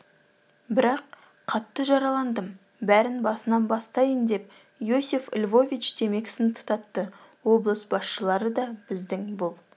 бірақ қатты жараландым бәрін басынан бастайын деп иосиф львович темекісін тұтатты облыс басшылары да біздің бұл